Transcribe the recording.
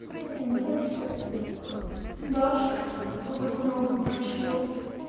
блин ну я вообще с дашей познакомил другой чел